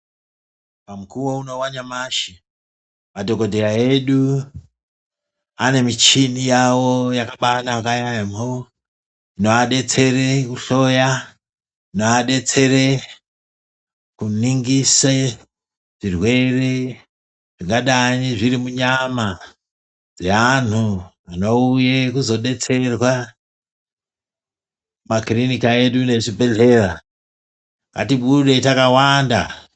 Pamukuwo uno wanyamashi, madhokodheya edu anemichini yawo yakabanaka yamho, inovadetsera kuhloya, inoadetsere kuningise, zvirwere zvingadayi zviri munyama dzeanhu dzinouya kuzodetserwa, kumakirinika edu nezvibhedhleya, ngatibude takawanda.